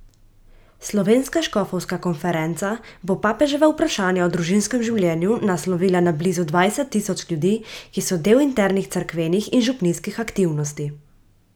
Slovenska škofovska konferenca bo papeževa vprašanja o družinskem življenju naslovila na blizu dvajset tisoč ljudi, ki so del internih cerkvenih in župnijskih aktivnosti.